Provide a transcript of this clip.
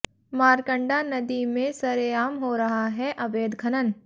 मारकंडा नदी में सरेआम हो रहा है अवैध खनन